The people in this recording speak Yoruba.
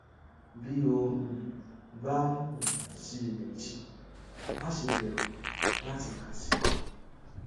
bí o um bá ń um ṣiyèméjì má ṣe bẹrù láti kàn sí mi um